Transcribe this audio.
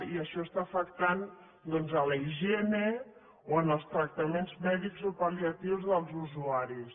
i això està afectant doncs la higiene o els tractaments mèdics o pal·liatius dels usuaris